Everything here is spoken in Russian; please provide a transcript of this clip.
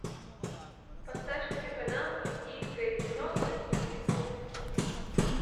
поставь телеканал индийское кино на телевизоре